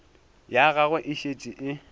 ya gagwe e šetše e